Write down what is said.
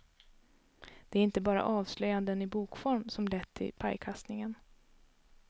Det är inte bara avslöjanden i bokform som lett till pajkastningen.